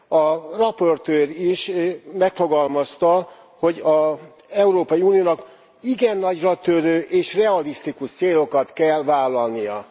A rapportőr is megfogalmazta, hogy az Európai Uniónak igen nagyratörő és realisztikus célokat kell vállalnia.